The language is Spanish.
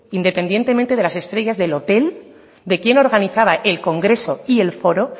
independientemente de las estrellas del hotel de quién organizaba el congreso y el foro